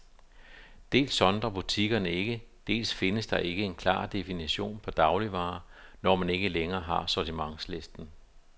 Dels sondrer butikkerne ikke, dels findes der ikke en klar definition på dagligvarer, når man ikke længere har sortimentslisten.